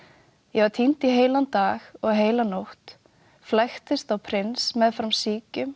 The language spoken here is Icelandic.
ég var týnd í heilan dag og heila nótt flæktist á prins meðfram